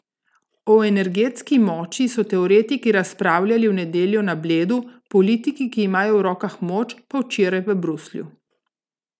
O energetski moči so teoretiki razpravljali v nedeljo na Bledu, politiki, ki imajo v rokah moč, pa včeraj v Bruslju.